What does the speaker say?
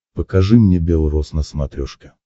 покажи мне бел роз на смотрешке